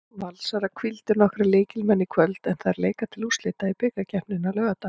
Valsarar hvíldu nokkra lykilmenn í kvöld en þær leika til úrslita í bikarkeppninni á laugardag.